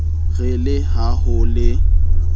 re le ha ho le